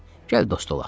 Gəl dost olaq!